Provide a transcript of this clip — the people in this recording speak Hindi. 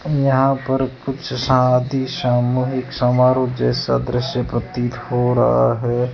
यहां पर कुछ शादी सामूहिक समारोह जैसा दृश्य प्रतीत हो रहा है।